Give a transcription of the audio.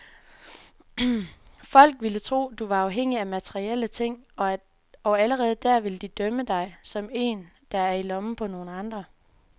Folk ville tro du var afhængig af materielle ting, og allerede der ville de dømme dig, som en der er i lommen på nogen andre.